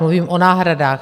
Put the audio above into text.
Mluvím o náhradách.